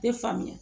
Tɛ faamuya